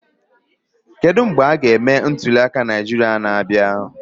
Kedu mgbe a ga-eme ntuliaka Naịjirịa na-abịa?